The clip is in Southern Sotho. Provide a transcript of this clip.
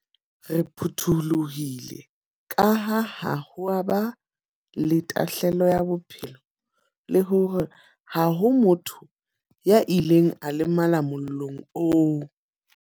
Re phuthulohile kaha ha ho a ba le tahlelo ya bophelo le hore ha ho motho ya ileng a lemala mollong oo.